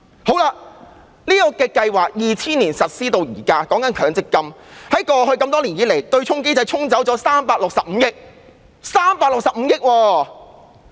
強積金制度由2000年實施至今，過去多年來，對沖機制沖掉了365億元，是365億元！